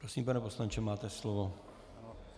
Prosím, pane poslanče, máte slovo.